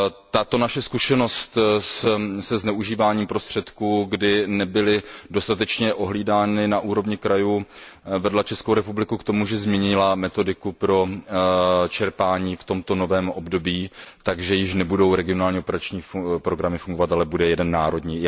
Tato naše zkušenost se zneužíváním prostředků, kdy nebyly dostatečně ohlídány na úrovni krajů, vedla ČR k tomu, že změnila metodiku pro čerpání v tomto novém období, takže již nebudou regionální operační programy fungovat, ale bude jeden národní.